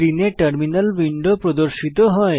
স্ক্রিনে terminal window প্রদর্শিত হয়